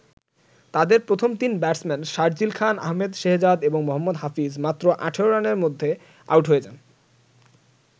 তাদের প্রথম তিন ব্যাটসম্যান শারজিল খান, আহমেদ শেহজাদ, এবং মোহাম্মদ হাফিজ মাত্র ১৮ রানের মধ্যে আউট হয়ে যান।